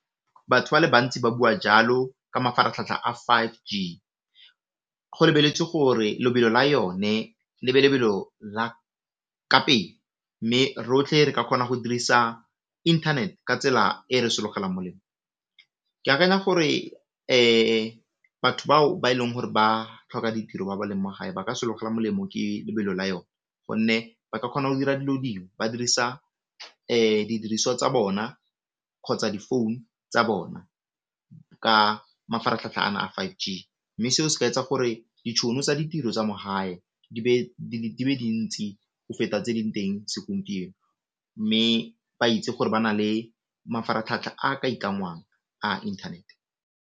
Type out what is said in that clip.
Batho ba le bantsi ba bua jalo ka mafaratlhatlha a five G go lebeletswe gore lebelo la yone le be lebelo la ka pele, mme rotlhe re ka kgona go dirisa internet ka tsela e re ke akanya gore batho bao ba e leng gore ba tlhoka ditiro ba ba leng mogae ba ka sologela molemo ke lebelo la yone gonne ba ka kgona go dira dilo dingwe ba dirisa didiriswa tsa bona kgotsa di phone tsa bona ka mafaratlhatlha a five G, mme seo se ka etsa gore ditšhono tsa ditiro tsa mogae di be dintsi go feta tse di teng segompieno mme ba itse gore ba na le mafaratlhatlha a ka ikangwang a internet.